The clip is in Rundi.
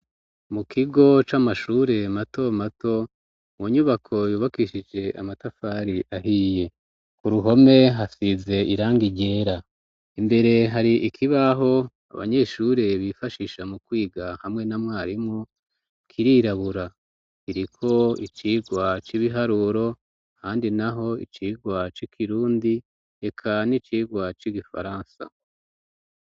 Mu kigo c'amashure mato mato, mu nyubako yubakishije amatafari ahiye, ku ruhome hasize irangi ryera, imbere hari ikibaho abanyeshure bifashisha mu kwiga hamwe na mwarimu kirirabura iriko icirwa c'ibiharuro ahandi naho icirwa c'Ikirundi eka n'icigwa c'Igifaransa